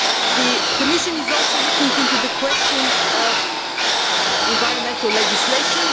The Commission is also looking into the question of environmental legislation.